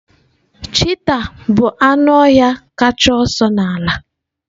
Cheetah bụ anụ ọhịa kacha ọsọ n'ala